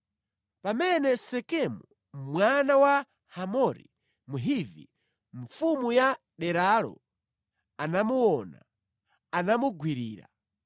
Pamene Sekemu mwana wa Hamori Mhivi, mfumu ya deralo, anamuona, anamugwirira.